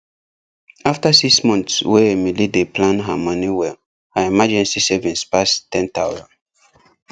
after six months wey emily dey plan her money well her emergency savings pass ten thousand